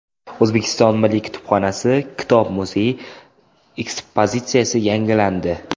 O‘zbekiston Milliy kutubxonasi kitob muzeyi ekspozitsiyasi yangilandi.